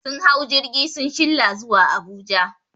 Sun hau jirgi sun shilla zuwa Abuja